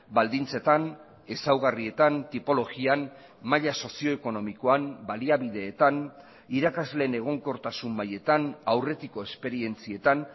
baldintzetan ezaugarrietan tipologian maila sozio ekonomikoan baliabideetan irakasleen egonkortasun mailetan aurretiko esperientzietan